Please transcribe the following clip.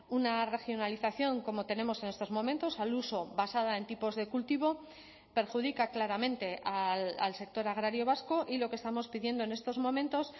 una regionalización como tenemos en estos momentos al uso basada en tipos de cultivo perjudica claramente al sector agrario vasco y lo que estamos pidiendo en estos momentos